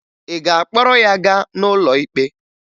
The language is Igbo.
Ị ga-akpọrọ ya gaa n'ụlọ ikpe?